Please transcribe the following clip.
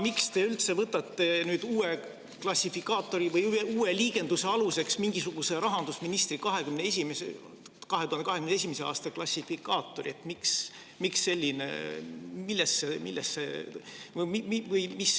Miks te üldse võtate uue klassifikaatori või liigenduse aluseks rahandusministri mingisuguse 2021. aasta klassifikaatori?